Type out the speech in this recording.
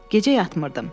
Gecə yatmırdım.